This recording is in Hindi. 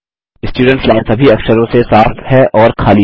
स्टुडेंट्स लाइन सभी अक्षरों से साफ़ है और खाली है